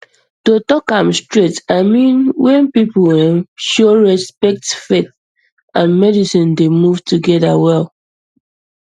to talk am straight i mean when people um show respect faith um and medicine dey um move together well